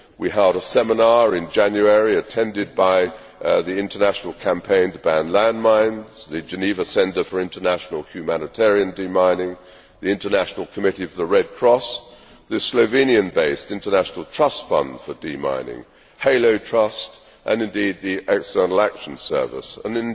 We held a seminar in January, which was attended by the International Campaign to Ban Landmines, the Geneva Centre for International Humanitarian Demining, the International Committee for the Red Cross, the Slovenian based International Trust Fund for Demining, HALO Trust and the External Action Service,